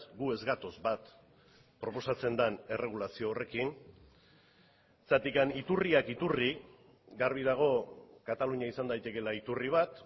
gu ez gatoz bat proposatzen den erregulazio horrekin zergatik iturriak iturri garbi dago katalunia izan daitekeela iturri bat